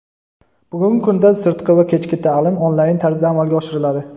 Bugungi kunda sirtqi va kechki ta’lim onlayn tarzda amalga oshiriladi.